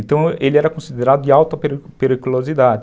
Então ele era considerado de alta periculosidade.